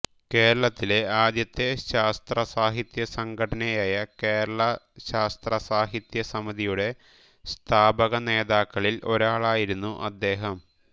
കേരളത്തിലെ ആദ്യത്തെ ശാസ്ത്രസാഹിത്യസംഘടനയായ കേരള ശാസ്ത്രസാഹിത്യ സമിതിയുടെ സ്ഥാപകനേതാക്കളിൽ ഒരാളായിരുന്നു അദ്ദേഹം